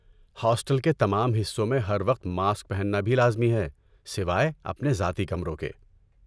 Hostel کے تمام حصوں میں ہر وقت ماسک پہننا بھی لازمی ہے، سوائے اپنے ذاتی کمروں کے۔